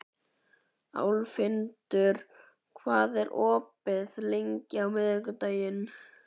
Álfhildur, hvað er opið lengi á miðvikudaginn?